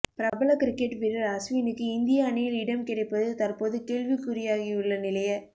பிரபல கிரிக்கெட் வீரர் அஸ்வினுக்கு இந்திய அணியில் இடம் கிடைப்பது தற்போது கேள்விக்குறியாகியுள்ள நிலைய